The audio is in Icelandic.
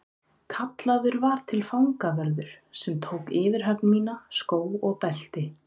Kallaður var til fangavörður sem tók yfirhöfn mína, skó og belti.